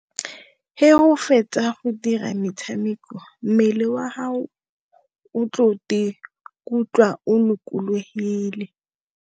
he o fetsa go dira metshameko, mmele wa haho, o tlo kutlwa o lokologile.